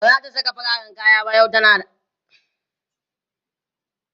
bazata Saka fararen kaya ba yau tana al'ada kada su Bata mata kaya